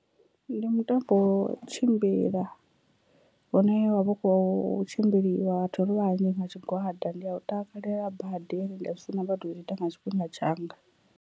Ndi mutambo wo tshimbila hune wa vha u khou tshimbiliwa vhathu ri vhanzhi nga tshigwada ndi a u takalela badi ende ndi a zwi funa badi u tou ita nga tshifhinga tshanga.